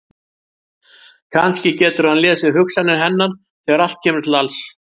Kannski getur hann lesið hugsanir hennar þegar allt kemur til alls!